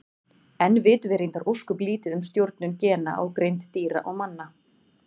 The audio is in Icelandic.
Enn vitum við reyndar ósköp lítið um stjórnun gena á greind dýra og manna.